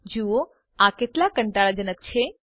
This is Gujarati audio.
જુઓ આ કેટલા કંટાળાજનક છે